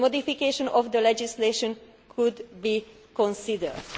The modification of the legislation could be considered'.